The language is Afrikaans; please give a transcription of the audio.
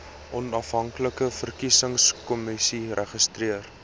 onafhanklike verkiesingskommissie registreer